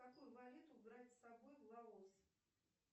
какую валюту брать с собой в лаос